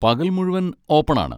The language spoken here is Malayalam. പകൽ മുഴുവൻ ഓപ്പൺ ആണ്.